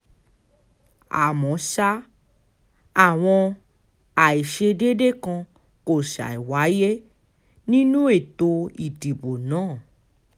àmọ́ sáà àwọn àìṣedédé kan kò ṣàì wáyé nínú ètò ìdìbò náà